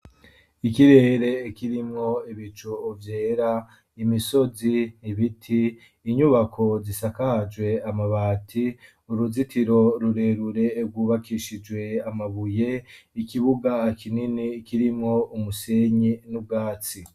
Ikirere kirimwo ibicu vyera, imisozi, ibiti , inyubako zisakajwe amabati, uruzitiro rurerure rwubakishijwe amabuye, ikibuga kinini kirimwo umusenyi n'ubwatsi.